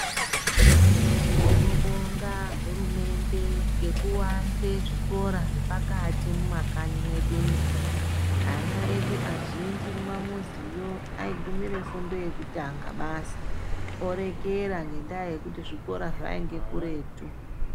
Tinobonga hurumende ngekuwanze zvikora zvepakati mumakanyi mwedu umo, ana edu kazhinji aigumira fundo yekutanga basi orekera ngenda yekuti zvikora zvainga kuretu.